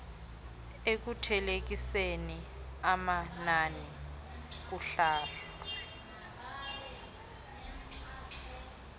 ekuthelekiseni amanani kuhlahlo